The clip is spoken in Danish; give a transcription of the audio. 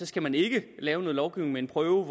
skal man ikke lave en lovgivning med en prøve